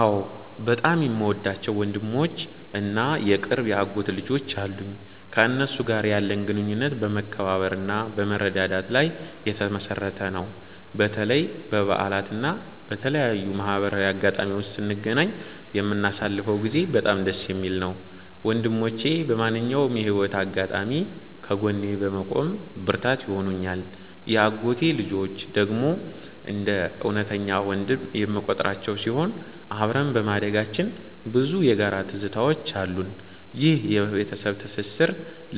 አዎ፣ በጣም የምወዳቸው ወንድሞች እና የቅርብ የአጎት ልጆች አሉኝ። ከእነሱ ጋር ያለን ግንኙነት በመከባበርና በመረዳዳት ላይ የተመሠረተ ነው። በተለይ በበዓላት እና በተለያዩ ማህበራዊ አጋጣሚዎች ስንገናኝ የምናሳልፈው ጊዜ በጣም ደስ የሚል ነው። ወንድሞቼ በማንኛውም የህይወት አጋጣሚ ከጎኔ በመቆም ብርታት ይሆኑኛል። የአጎቴ ልጆች ደግሞ እንደ እውነተኛ ወንድም የምቆጥራቸው ሲሆን፣ አብረን በማደጋችን ብዙ የጋራ ትዝታዎች አሉን። ይህ የቤተሰብ ትስስር